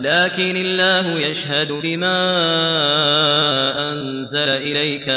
لَّٰكِنِ اللَّهُ يَشْهَدُ بِمَا أَنزَلَ إِلَيْكَ ۖ